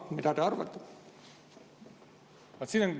Mida te arvate?